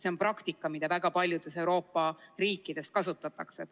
See on praktika, mida kasutatakse väga paljudes Euroopa riikides.